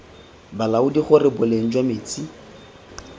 balaodi gore boleng jwa metsi